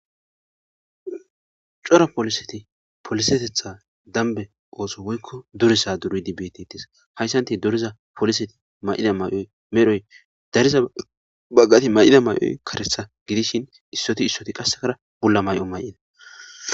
cora poliseti polisetetha dambe ooso woykko durisa duridi beettitis hayssanti doriza poliseti may7ida may7oy medhoy dariza baggati may7ida may7oy karetha gidishin issoti issoti qassekara bulla may7o may7ina